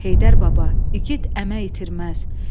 Heydər Baba, igid əmək itirməz.